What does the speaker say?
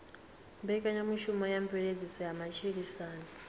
mbekanyamushumo dza mveledziso ya matshilisano